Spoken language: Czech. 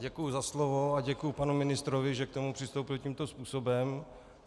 Děkuji za slovo a děkuji panu ministrovi, že k tomu přistoupil tímto způsobem.